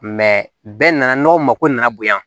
bɛɛ nana n'o mako nana bonya